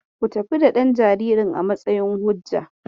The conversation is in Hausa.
Ku tafi da ɗan jaririn a matsayin hujja.